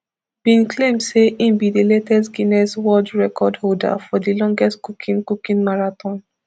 bin claim say im be di latest guinness world record holder for di longest cooking cooking marathon